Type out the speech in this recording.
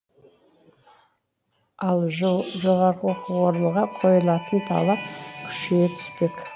ал жоғарғы оқу орынға қойылатын талап күшейе түспек